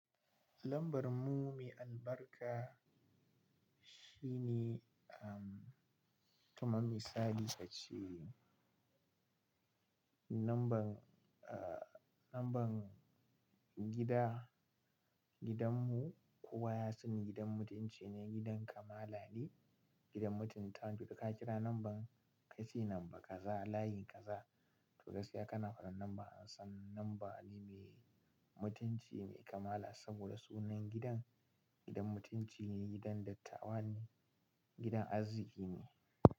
Lambar mu me albarka shine, um, kaman misali ace number, ah, number gida, gidanmu kowa ya sani gidan mutunci ne, gidan kamala ne, gidan mutuntawa. To ka kira number, ka ce number kaza layin kaza. To gaskiya kana faɗan number ansani number ne mai mutunci, mai kamala saboda sunan gidan, gidan mutunci ne, gidan dattawa ne, gidan arziki ne.